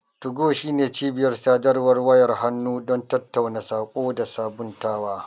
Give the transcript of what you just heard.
2go shine cibiyar sadarwar wayar hannu don tattaunawa, saƙo, da sabuntawa.